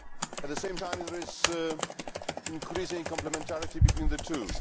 At the same time, there is increasing complementarity between the two.